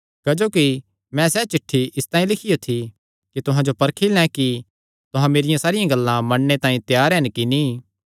क्जोकि मैं सैह़ चिठ्ठी इसतांई लिखियो थी कि तुहां जो परखी लैं कि तुहां मेरियां सारियां गल्लां मन्नणे तांई त्यार हन कि नीं